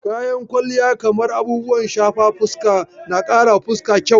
Kayan kwalliya kamar abubuwan shafe fuska na karawa fuska kyau